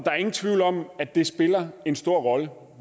er ingen tvivl om at det spiller en stor rolle